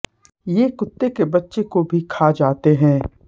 ये कुत्ते के बच्चे को भी खा जाते हैं